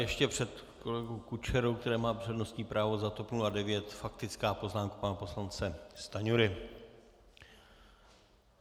Ještě před kolegou Kučerou, který má přednostní právo za TOP 09, faktická poznámka pana poslance Stanjury.